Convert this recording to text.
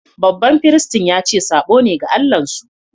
Baɓan firistin ya ce sabo ne ga Allah'n su.